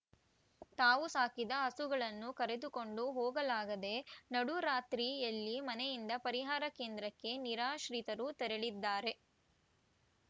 ತಾವು ಸಾಕಿದ ಹಸುಗಳನ್ನು ಕರೆದುಕೊಂಡು ಹೋಗಲಾಗದೆ ನಡುರಾತ್ರಿಯಲ್ಲಿ ಮನೆಯಿಂದ ಪರಿಹಾರ ಕೇಂದ್ರಕ್ಕೆ ನಿರಾಶ್ರಿತರು ತೆರಳಿದ್ದಾರೆ